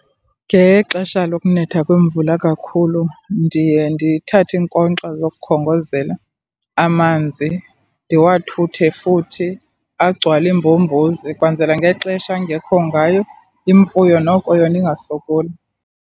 Ngexesha lokunetha kwemvula kakhulu ndiye ndithathe iinkonkxa zokukhongozela amanzi, ndiwathuthe futhi agcwale iimbombozi, kwenzela ngexesha angekho ngayo imfuyo noko yona ingasokoli.